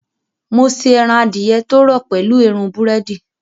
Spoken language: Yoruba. Mo ṣe ẹran adìẹ tó rọ̀ pẹ̀lú èérún búrẹ́dì